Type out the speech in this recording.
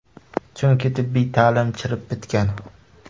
Chunki tibbiy ta’lim chirib bitgan.